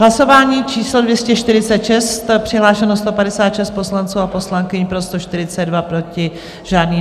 Hlasování číslo 246, přihlášeno 156 poslanců a poslankyň, pro 142, proti žádný.